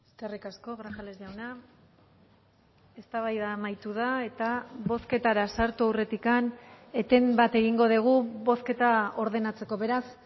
eskerrik asko grajales jauna eztabaida amaitu da eta bozketara sartu aurretik eten bat egingo dugu bozketa ordenatzeko beraz